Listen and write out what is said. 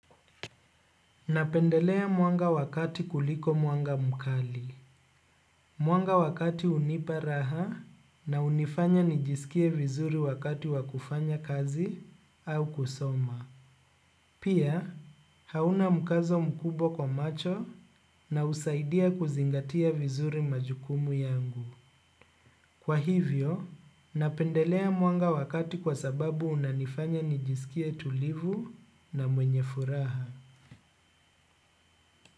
Napendelea mwanga wakati kuliko mwanga mukali. Mwanga wakati unipa raha na unifanya nijisikie vizuri wakati wakufanya kazi au kusoma. Pia, hauna mkazo mkubwa kwa macho na usaidia kuzingatia vizuri majukumu yangu. Kwa hivyo, napendelea mwanga wakati kwa sababu unanifanya nijisikie tulivu na mwenye furaha.